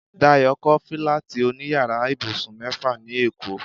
Dayo kọ́ fílátì òní yàrá ibùsùn mẹ́ta ní èkó